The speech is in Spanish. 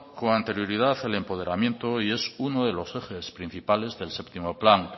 con anterioridad el empoderamiento y es uno de los ejes principales del séptimo plan